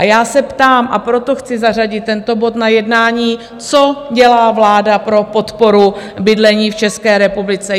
A já se ptám, a proto chci zařadit tento bod na jednání, co dělá vláda pro podporu bydlení v České republice?